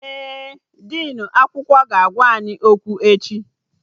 Ee, dinu akwụkwọ ga-agwa anyị okwu echi